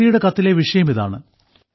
കുട്ടിയുടെ കത്തിലെ വിഷയം ഇതാണ്